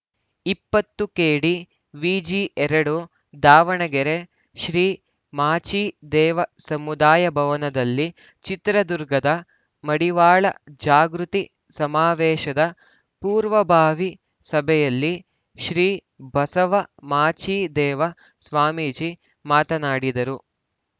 ಇಪ್ಪತ್ತು ಕೆಡಿವಿಜಿ ಎರಡು ದಾವಣಗೆರೆ ಶ್ರೀ ಮಾಚಿದೇವ ಸಮುದಾಯ ಭವನದಲ್ಲಿ ಚಿತ್ರದುರ್ಗದ ಮಡಿವಾಳ ಜಾಗೃತಿ ಸಮಾವೇಶದ ಪೂರ್ವಭಾವಿ ಸಭೆಯಲ್ಲಿ ಶ್ರೀ ಬಸವ ಮಾಚಿದೇವ ಸ್ವಾಮೀಜಿ ಮಾತನಾಡಿದರು